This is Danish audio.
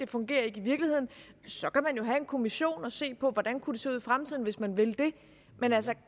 fungerer i virkeligheden så kan man jo have en kommission og se på hvordan det kunne se ud i fremtiden hvis man vil det men altså